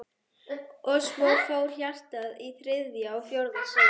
Og svo fór hjartað í þriðja og fjórða sinn.